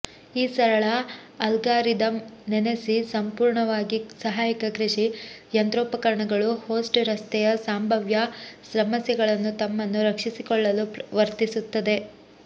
ಈ ಸರಳ ಅಲ್ಗಾರಿದಮ್ ನೆನೆಸಿ ಸಂಪೂರ್ಣವಾಗಿ ಸಹಾಯಕ ಕೃಷಿ ಯಂತ್ರೋಪಕರಣಗಳು ಹೋಸ್ಟ್ ರಸ್ತೆಯ ಸಂಭಾವ್ಯ ಸಮಸ್ಯೆಗಳನ್ನು ತಮ್ಮನ್ನು ರಕ್ಷಿಸಿಕೊಳ್ಳಲು ವರ್ತಿಸುತ್ತದೆ